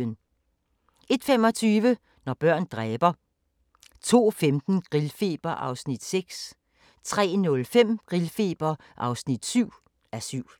01:25: Når børn dræber 02:15: Grillfeber (6:7) 03:05: Grillfeber (7:7)